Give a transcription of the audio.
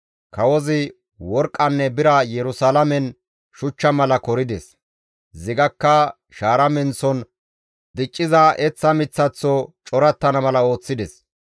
Kawozi worqqanne bira Yerusalaamen shuchcha mala korides; zigakka shaara menththon dicciza eththa miththaththo corattana mala ooththides.